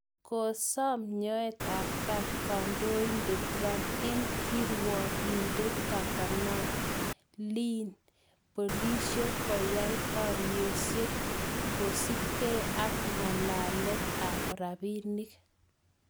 Kosaam nyoet ap kat kandoindet trump eng' kirwigiindet Kavanaugh. Leen polisiek , koyaak baarisyeet koosupkeei ak ng'aleek ap rabiinik.